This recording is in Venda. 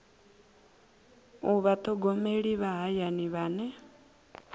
u vhathogomeli vha hayani vhane